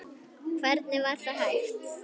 Hvernig var það hægt?